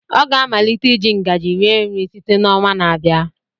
Ọ ga-amalite iji ngaji rie nri site n'ọnwa na-abịa.